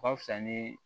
O ka fisa ni